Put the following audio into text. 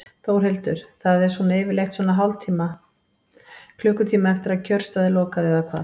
Þórhildur: Það er svona yfirleitt svona hálftíma, klukkutíma eftir að kjörstað er lokað eða hvað?